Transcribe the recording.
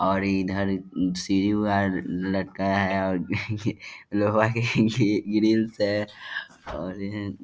और इधर सीढ़ी वगेरह लगते है और लोहा के ग्रिल्स है और ये --